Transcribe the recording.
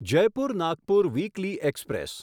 Jaipur Nagpur weekly express